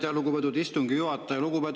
Aitäh, lugupeetud istungi juhataja!